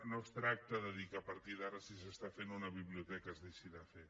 no es tracta de dir que a partir d’ara si s’està fent una biblioteca es deixi de fer